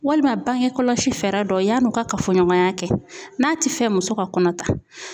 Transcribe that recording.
Walima bangekɔlɔlɔsi fɛɛrɛ dɔ ye yan'u ka kafoɲɔgɔnya kɛ n'a ti fɛ muso ka kɔnɔ ta.